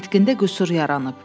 Nitqində qüsur yaranıb.